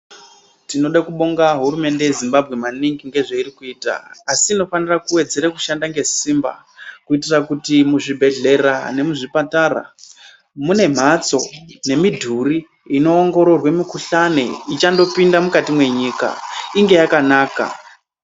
Tinode kubonga hurumende yezimbabwe maningi ngezveiri kuita asi inofanira kuwedzera kushanda nesimba kuitira kuti muzvibhedhlera nemuzvipatara mune mhatso nemidhuri inoongororwe mikhuhlani ichangopinde mukati mwenyika inge yakanaka.